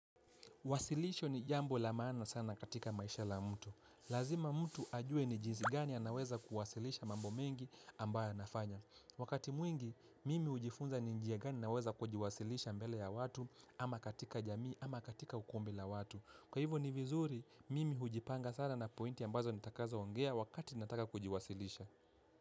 Wasilisho ni jambo la maana sana katika maisha la mtu. Lazima mtu ajue nijizi gani anaweza kuwasilisha mambo mengi ambaya anafanya. Wakati mwingi, mimi hujifunza ni njia gani anaweza kujiwasilisha mbele ya watu ama katika jamii ama katika ukumbi la watu. Kwa hivyo ni vizuri, mimi hujipanga sana na pointi ambazo nitakaza ongea wakati nataka kujiwasilisha.